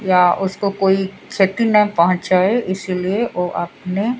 या उसको कोई उसकी क्षति न पहुंचाए इसलिए वो अपने--